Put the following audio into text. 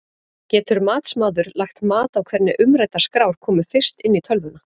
Getur matsmaður lagt mat á hvernig umræddar skrár komu fyrst inn í tölvuna?